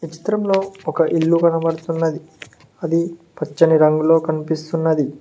చిత్రంలో ఒక ఇల్లు కనబడుతున్నది అది పచ్చని రంగులో కనిపిస్తున్నది.